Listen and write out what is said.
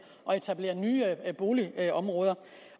og etablerer nye boligområder